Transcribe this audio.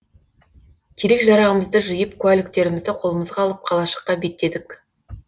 керек жарағымызды жиып куәліктерімізді қолымызға алып қалашыққа беттедік